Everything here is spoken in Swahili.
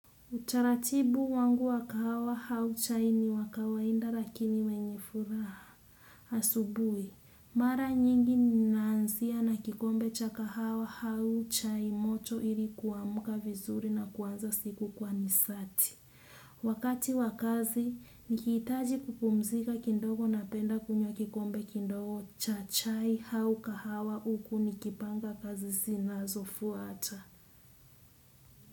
Utaratibu wangu wa kahawa au chai ni wa kawaida lakini wenye furaha. Asubuhi, mara nyingi ninaanzia na kikombe cha kahawa au chai moto ili kuamka vizuri na kuanza siku kwa nisati. Wakati wa kazi, nikihitaji kupumzika kidogo napenda kunywa kikombe kidogo cha chai au kahawa uku nikipanga kazi zinazo fuata.